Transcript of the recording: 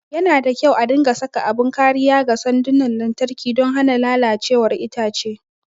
Yana da kyau a dinga saka abin kariya ga sandunan lantarki don hana lalacewar itace.